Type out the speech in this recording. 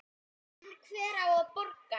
En hver á að borga?